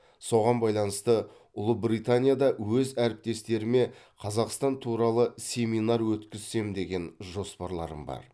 соған байланысты ұлыбританияда өз әріптестеріме қазақстан туралы семинар өткізсем деген жоспарларым бар